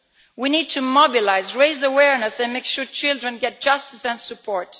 We need to mobilise, raise awareness and make sure children get justice and support.